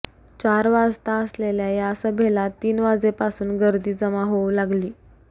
चार वाजता असलेल्या या सभेला तीन वाजेपासून गर्दी जमा होवू लागली